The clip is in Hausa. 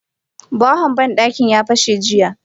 Bahon bandaki ya fashe jiya.